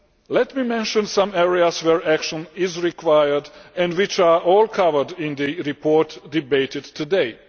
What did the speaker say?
Let me mention some areas where action is required and which are all covered in the report debated today.